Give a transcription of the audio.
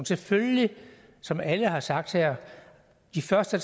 selvfølgelig som alle har sagt her de første